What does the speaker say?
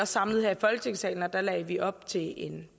samlet her i folketingssalen og da lagde vi op til en